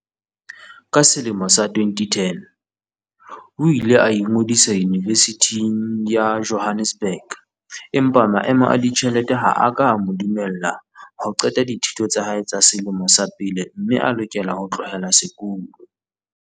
Ka selemo sa 2010, o ile a ingodisa Yunivesithing ya Jo hannesburg empa maemo a ditjhelete ha a ka a mo dumella ho qeta dithuto tsa hae tsa selemo sa pele mme a lokela ho tlohela sekolo.